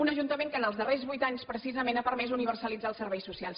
un ajuntament que en els darrers vuit anys precisament ha permès universalitzar els serveis socials